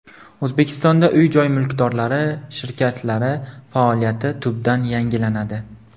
O‘zbekistonda uy-joy mulkdorlari shirkatlari faoliyati tubdan yangilanadi.